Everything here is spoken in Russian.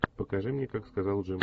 покажи мне как сказал джим